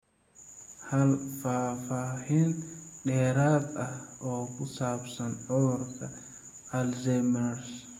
Hel faahfaahin dheeraad ah oo ku saabsan cudurka Alzheimers.